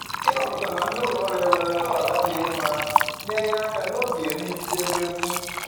Ịmapụta ma ndị ụlọ ọrụ enwere ntọala dị mma na-enye aka n'oge migede mmegbu